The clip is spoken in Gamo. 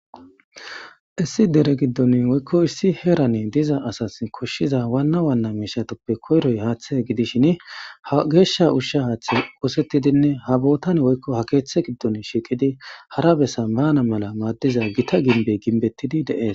Issi deren gidon woyko issi heran koshiza waan waana mishatappe koyroyi haathe gidishn ha geesha usha hathe qosetidinne ha bootan woyko ha koothe giddoni shiiqid hara bessa baana mala madiza Gita gimbey himbetidi de'esi.